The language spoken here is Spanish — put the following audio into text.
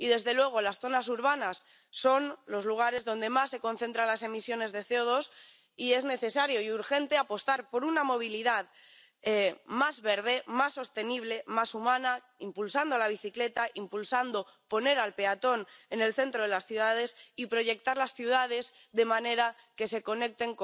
Y, desde luego, las zonas urbanas son los lugares donde más se concentran las emisiones de CO2 y es necesario y urgente apostar por una movilidad más verde, más sostenible, más humana, impulsando la bicicleta, impulsando poner al peatón en el centro de las ciudades y proyectar las ciudades de manera que se